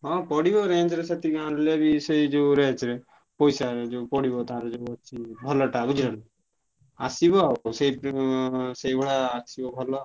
ହଁ ପଡିବ range ରେ ସେତିକି ଆଣିଲେ ବି ସେଇ ଯୋଉ range ରେ ପଇସା ଯୋଉ ପଡିବ ତାର ଯୋଉ ଅଛି ଭଲ ଟା ବୁଝିଲ ନା। ଆସିବ ଆଉ ସେଇ ଏନଂ ସେଇ ଭଳିଆ ଆସିବ ଭଲ ଆଉ।